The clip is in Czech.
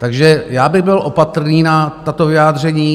Takže já bych byl opatrný na tato vyjádření.